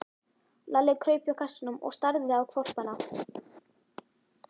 Lalli kraup hjá kassanum og starði á hvolpana.